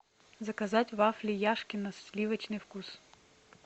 заказать вафли яшкино сливочный вкус